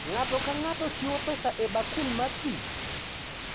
Ng’ato ka ng’ato chiwo pesa e bakul mar pi,